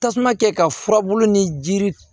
Tasuma kɛ ka furabulu ni jiri